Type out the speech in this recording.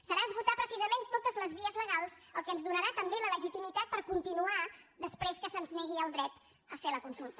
serà esgotar precisament totes les vies legals el que ens donarà també la legitimitat per continuar després que se’ns negui el dret a fer la consulta